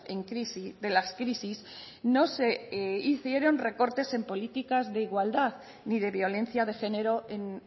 en crisis de las crisis no se hicieron recortes en políticas de igualdad ni de violencia de género en